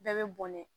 Bɛɛ bɛ bɔn ne